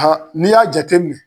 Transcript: n'i y'a jateminɛ